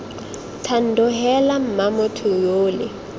thando heela mma motho yole